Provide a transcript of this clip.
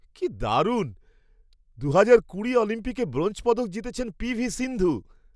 কি দারুণ! দু'হাজার কুড়ি অলিম্পিকে ব্রোঞ্জ পদক জিতেছেন পি.ভি. সিন্ধু!